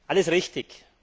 Alles richtig.